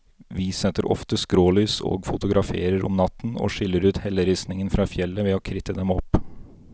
Vi setter ofte skrålys og fotograferer om natten, og skiller ut helleristningen fra fjellet ved å kritte dem opp.